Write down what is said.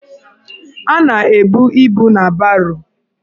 A na-ebu ibu na baro.